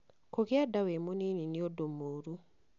kũgĩa nda wĩ mũnini nĩ ũndũ mũũru